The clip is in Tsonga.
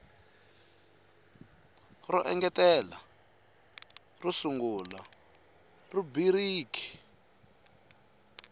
ro engetela ro sungula rhubiriki